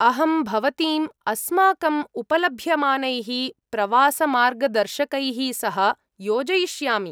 अहं भवतीम्, अस्माकम् उपलभ्यमानैः प्रवासमार्गदर्शकैः सह योजयिष्यामि।